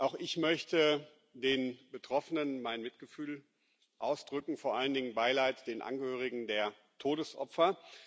Auch ich möchte den Betroffenen mein Mitgefühl ausdrücken, vor allen Dingen mein Beileid den Angehörigen der Todesopfer.